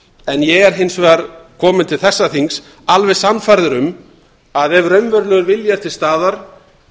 en ég er hins vegar kominn til þessa þings alveg sannfærður um að ef raunverulegur vilji er til staðar